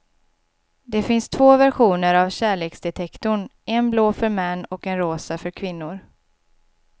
Det finns två versioner av kärleksdetektorn, en blå för män och en rosa för kvinnor.